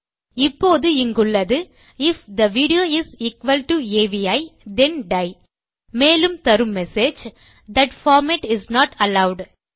இப்போது இங்குள்ளது if the video is equal to AVI then டை மேலும் தரும் message that format is not allowed